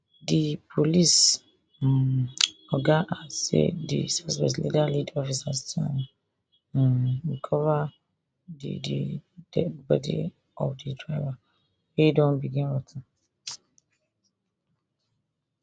di police um oga add say di suspects later lead officers to um recover di di deadi body of di driver wey don begin rot ten